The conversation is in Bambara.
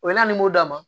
O bɛ ne ni d'a ma